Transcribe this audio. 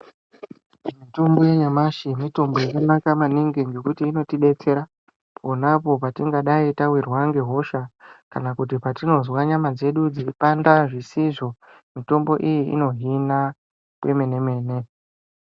Mitombo yanyamashi mitombo yakanaka ngekuti inotidetsera ponapo patingadai tawirwa ngehosha kana kuti patinozwa nyama dzedu dzichipanda zvisizvo mitombo iyi inohina kwemene mene.